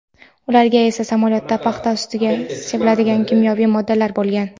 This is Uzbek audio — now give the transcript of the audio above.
ularda esa samolyotda paxta ustiga sepiladigan kimyoviy moddalar bo‘lgan.